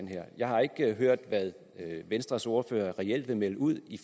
her jeg har ikke hørt hvad venstres ordfører reelt vil melde ud i